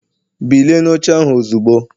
Bilie n'oche ahụ ozugbo!